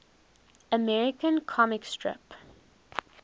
american comic strip